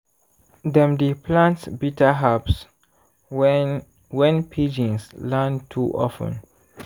dem dey plant bitter herbs when when pigeons land too of ten.